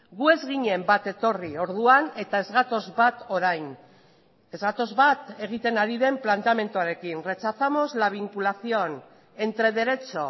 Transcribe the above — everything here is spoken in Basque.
gu ez ginen bat etorri orduan eta ez gatoz bat orain ez gatoz bat egiten ari den planteamenduarekin rechazamos la vinculación entre derecho